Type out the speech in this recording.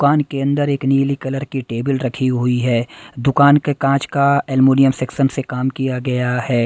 दुकान के अंदर एक नीली कलर की टेबल रखी हुई है दुकान के कांच का एलुमिनियम सेक्शन से काम किया गया है।